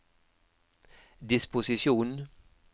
disposisjon